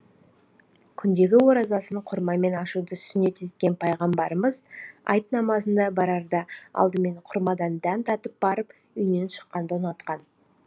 күндегі оразасын құрмамен ашуды сүннет еткен пайғамбарымыз айт намазына барарда алдымен құрмадан дәм татып барып үйінен шыққанды ұнатқан